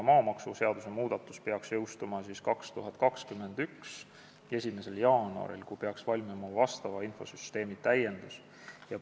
Maamaksuseaduse muudatus peaks jõustuma 2021. aasta 1. jaanuaril, kui peaks valmima infosüsteemi täiendus.